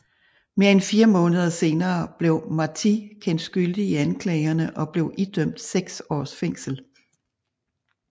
Mere end fire måneder senere blev Martí kendt skyldig i anklagerne og blev idømt seks års fængsel